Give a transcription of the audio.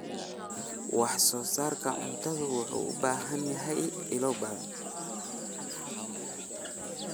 Wax-soo-saarka cuntadu wuxuu u baahan yahay ilo badan.